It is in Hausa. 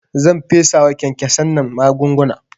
Zan fesawa kyankyasan nan magunguna